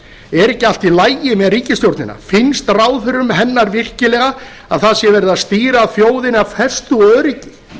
er ekki allt í lagi með ríkisstjórnina finnst ráðherrum hennar virkilega að það sé verið að stýra þjóðinni af festu og öryggi